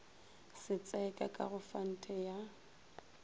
setseka ka go fante ya